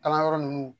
Kalanyɔrɔ ninnu